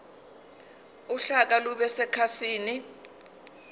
uhlaka lube sekhasini